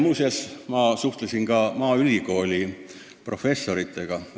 Muuseas, ma suhtlesin ka maaülikooli professoritega.